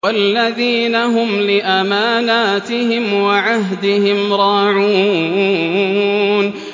وَالَّذِينَ هُمْ لِأَمَانَاتِهِمْ وَعَهْدِهِمْ رَاعُونَ